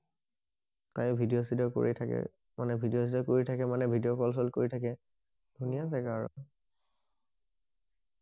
প্ৰায় ভিডিঅ চিদিও কৰি থাকে মানে ভিডিঅ কল চল কৰি থাকে থাকে ধুনীয়া জেগা আৰু